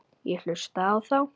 Ég hlustaði á þá.